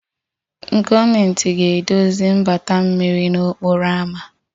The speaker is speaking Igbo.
Gọọmentị ga-edozi mgbata mmiri n'okporo ámá